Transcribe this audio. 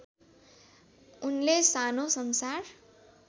उनले सानो सन्सार